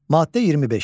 Maddə 25.